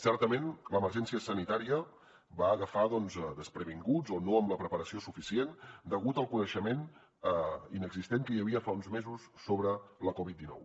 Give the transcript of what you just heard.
certament l’emergència sanitària ens va agafar doncs desprevinguts o no amb la preparació suficient degut al coneixement inexistent que hi havia fa uns mesos sobre la covid dinou